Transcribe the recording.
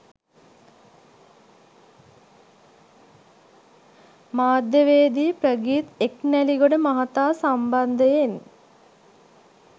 මාධ්‍යවේදී ප්‍රගීත් එක්නැලිගොඩ මහතා සම්බන්ධයෙන්